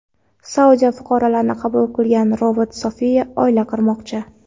Saudiya fuqaroligini qabul qilgan robot Sofiya oila qurmoqchi.